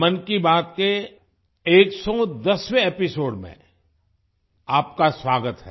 मन की बात के 110वें एपिसोड में आपका स्वागत है